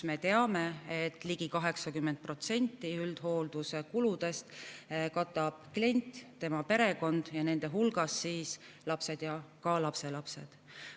Me teame, et ligi 80% üldhoolduse kuludest katavad klient ja tema perekond, nende hulgas lapsed ja ka lapselapsed.